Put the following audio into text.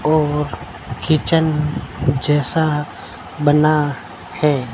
और किचन जैसा बना है।